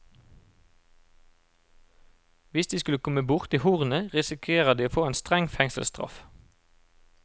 Hvis de skulle komme borti hornet risikerer de å få en streng fengselsstraff.